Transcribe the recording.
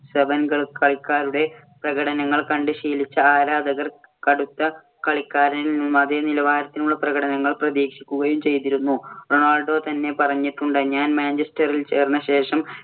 Seven കളിക്കാരുടെ പ്രകടനങ്ങൾ കണ്ട് ശീലിച്ച ആരാധകർ കടുത്ത കളിക്കാരനിൽ നിന്നും അതേ നിലവാരത്തിലുള്ള പ്രകടനങ്ങൾ പ്രതീക്ഷിക്കുകയും ചെയ്തിരുന്നു. റൊണാൾഡോ തന്നെ പറഞ്ഞിട്ടുണ്ട്. ഞാൻ മാഞ്ചെസ്റ്ററിൽ ചേർന്ന ശേഷം